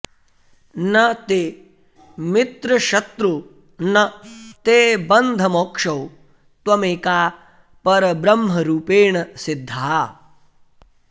न ते मित्रशत्रू न ते बन्धमोक्षौ त्वमेका परब्रह्मरूपेण सिद्धा